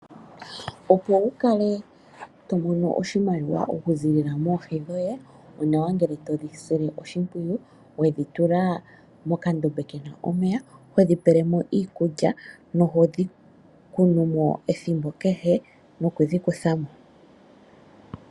Opo wu kale to mono oshimaliwa oku ziilila moohi dhoye, onawa ngele todhi sile oshimpwiyu, wedhi tula mokandombe ke na omeya, hodhi pele mo iikulya noho dhi munu ethimbo kehe nokudhi kutha mo.